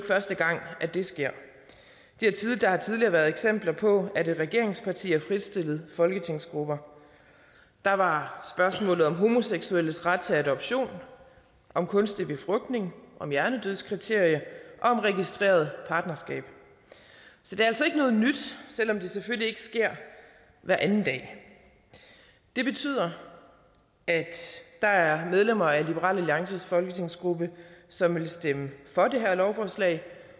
første gang at det sker der har tidligere været eksempler på at et regeringsparti har fritstillet folketingsgruppe der var spørgsmålet om homoseksuelles ret til adoption om kunstig befrugtning om hjernedødskriteriet og om registreret partnerskab så det er altså ikke noget nyt selv om det selvfølgelig ikke sker hver anden dag det betyder at der er medlemmer af liberal alliances folketingsgruppe som vil stemme for det her lovforslag